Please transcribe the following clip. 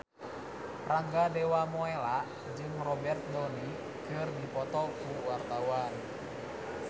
Rangga Dewamoela jeung Robert Downey keur dipoto ku wartawan